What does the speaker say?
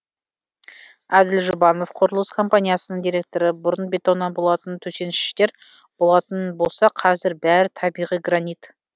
әділ жұбанов құрылыс компаниясының директоры бұрын бетоннан болатын төсеніштер болатын болса қазір бәрі табиғи гранит